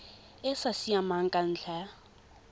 e sa siamang ka ntlha